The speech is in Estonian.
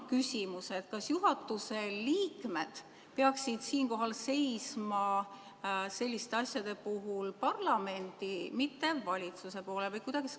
Kas juhatuse liikmed peaksid seisma selliste asjade puhul parlamendi, mitte valitsuse poolel?